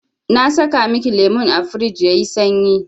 Na saka miki lemun a firij yayi sanyi.